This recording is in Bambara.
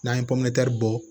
N'an ye pɔmetɛriw bɔ